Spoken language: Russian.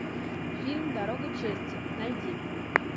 фильм дорога чести найди